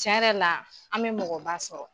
Tiɲɛ yɛrɛ la an me mɔgɔba sɔrɔ.